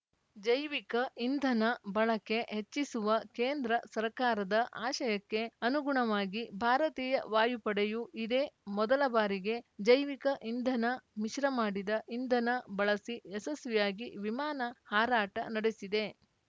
ಜೈವಿಕ ಇಂಧನ ಬಳಕೆ ಹೆಚ್ಚಿಸುವ ಕೇಂದ್ರ ಸರ್ಕಾರದ ಆಶಯಕ್ಕೆ ಅನುಗುಣವಾಗಿ ಭಾರತೀಯ ವಾಯುಪಡೆಯು ಇದೇ ಮೊದಲ ಬಾರಿಗೆ ಜೈವಿಕ ಇಂಧನ ಮಿಶ್ರ ಮಾಡಿದ ಇಂಧನ ಬಳಸಿ ಯಶಸ್ವಿಯಾಗಿ ವಿಮಾನ ಹಾರಾಟ ನಡೆಸಿದೆ